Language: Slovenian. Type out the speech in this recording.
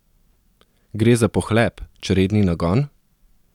Gre za pohlep, čredni nagon?